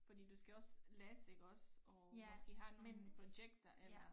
Fordi du skal også læse iggås og måske have nogen projekter eller